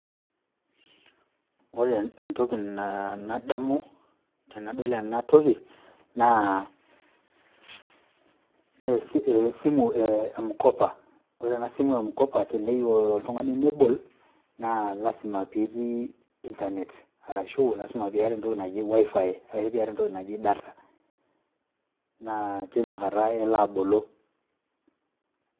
Ore entoki nadamu tenadol ena toki naa esimu e M-Kopa. Ore ena simu e M-, teneyieu oltung'ani nebol, naa lazima pee itii internet arashu lazima pee itii entoki naji WiFi arashu pee iyata entoki naji data. Naa teina kata elo abolo